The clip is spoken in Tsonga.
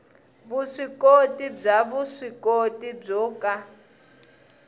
vuswikoti bya vuswikoti byo ka